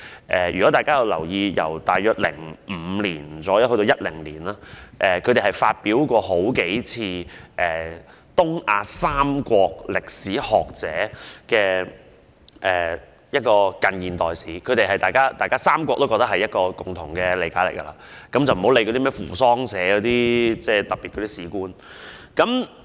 大約由2005年至2010年，他們曾數度發表東亞三國歷史學者的近現代史，當中記載三國的共同理解，暫且不理會扶桑社等出版的歷史教科書所引起的特別事故。